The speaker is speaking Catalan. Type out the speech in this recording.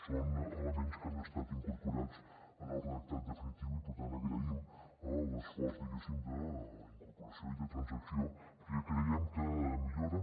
són elements que han estat incorporats en el redactat definitiu i per tant agraïm l’esforç diguéssim d’incorporació i de transacció perquè creiem que millora